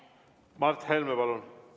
Mart Helme, palun!